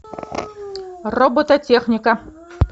робототехника